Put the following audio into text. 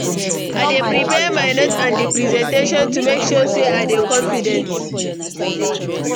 i dey prepare my notes and di presentation to make sure say i dey confident.